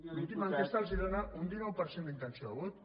l’última enquesta els dóna un dinou per cent d’intenció de vot